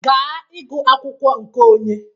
Ga ịgụ akwụkwọ nke onye